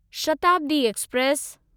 Shatabdi express